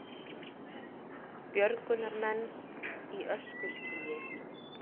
Björgunarmenn í öskuskýi